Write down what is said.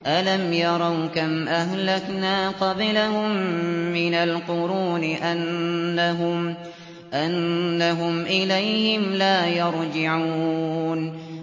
أَلَمْ يَرَوْا كَمْ أَهْلَكْنَا قَبْلَهُم مِّنَ الْقُرُونِ أَنَّهُمْ إِلَيْهِمْ لَا يَرْجِعُونَ